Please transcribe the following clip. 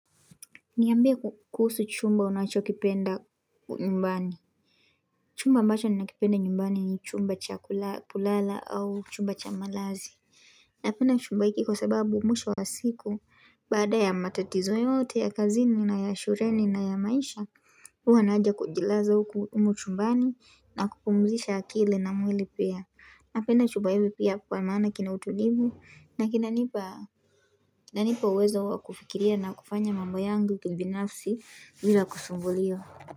Niambie kuhusu chumba unachokipenda nyumbani. Chumba ambacho ninachokipenda nyumbani ni chumba chakulala au chumba cha malazi. Napenda chumba hiki kwa sababu mwisho wa siku, baada ya matatizo yote ya kazini na ya shureni na ya maisha, uwa naja kujilaza u ku umu chumbani na kupumzisha akili na mwili pia. Napenda chuba hivi pia kwa maana kina utulivu na kina nipa uwezo wakufikiria na kufanya mambo yangu kubinafsi vila kusumbuliwa.